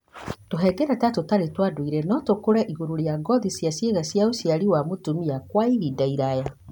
Tũhengereta tũtarĩ twa ndũire no tũkũre igũrũ rĩa ngothi ya ciĩga cia ũciari cia mũtumia kwa ihinda iraya.